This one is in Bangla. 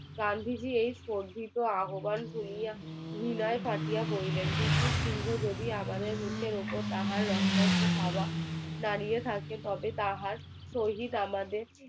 গান্ধী জি এই বর্ধিত আহ্বান শুনিয়ে ঘৃনাই থাকিয়া কহিলেন ব্রিটিশ সিংহ যদি আমাদের নিচের ওপর তাহার নোখমাক্ত থাবা মাড়িয়ে থাকে তবে তাহার সহিত আমাদের